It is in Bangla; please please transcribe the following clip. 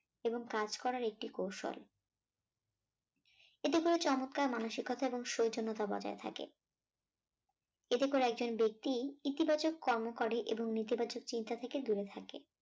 এবং কাজ করার একটি কৌশল এতে করে চমৎকার মানসিকতা এবং সৌজন্যতা বজায় থাকে। এতে করে একজন ব্যক্তি ইতিবাচক কর্ম করে এবং নেতিবাচক চিন্তা থেকে দূরে থাকে।